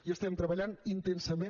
hi estem treballant intensament